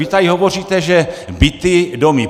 Vy tady hovoříte, že byty, domy...